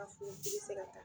A fɔ u bɛ ka taa,